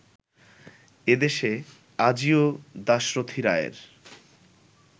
এ দেশে, আজিও দাশরথি রায়ের